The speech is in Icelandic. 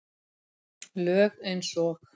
Lög eins og